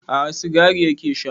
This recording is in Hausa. A'a sigari yake sha